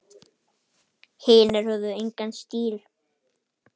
Hinir höfðu engan stíl.